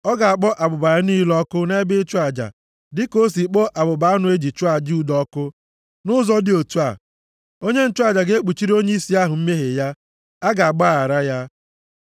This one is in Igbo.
Ọ ga-akpọ abụba ya niile ọkụ nʼebe ịchụ aja dịka o si kpọọ abụba anụ e ji chụọ aja udo ọkụ. Nʼụzọ dị otu a, onye nchụaja ga-ekpuchiri onyeisi ahụ mmehie ya. A ga-agbaghara ya.